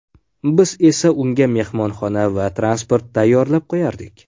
Biz esa unga mehmonxona va transport tayyorlab qo‘yardik.